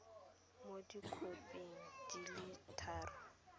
mo dikhoping di le tharo